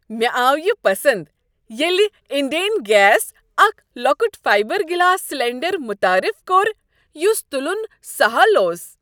مےٚ آو یِہ پسند ییٚلہ انڈین گیسن اکھ لۄکٹ فائبر گلاس سلنڈر متعارف کوٚر یس تُلن سہل اوس۔